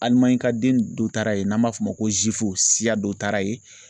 ka den dɔ taara yen n'an b'a f'o ma ko siya dɔ taara yen